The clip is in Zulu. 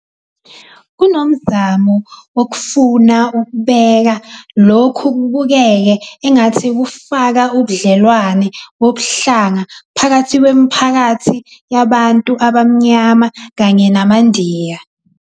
Kunomzamo wokufuna ukubeka lokhu kubukeke engathi kufaka ubudlelwane bobuhlanga phakathi kwemiphakathi yabantu abaMnyama kanye namaNdiya.